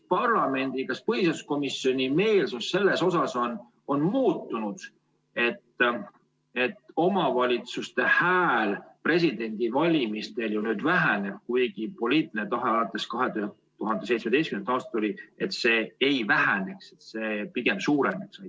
Kas põhiseaduskomisjoni meelsus on muutunud, mis puudutab seda, et omavalitsuste hääl presidendivalimistel ju nüüd väheneb, kuigi poliitiline tahe alates 2017. aastast oli, et see ei väheneks, vaid pigem suureneks?